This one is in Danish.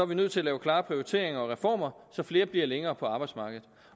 vi nødt til at lave klare prioriteringer og reformer så flere bliver længere på arbejdsmarkedet